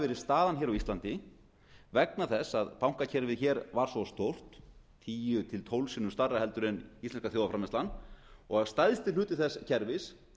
verið staðan hér á íslandi vegna þess að bankakerfið hér var svo stórt tíu til tólf sinnum stærra heldur en íslenska þjóðarframleiðslan og stærsti hluti þess kerfis